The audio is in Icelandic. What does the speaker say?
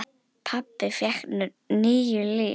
Pabbi fékk níu líf.